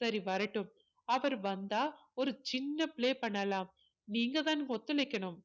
சரி வரட்டும் அவர் வந்தா ஒரு சின்ன play பண்ணலாம் நீங்கதான் ஒத்துழைக்கணும்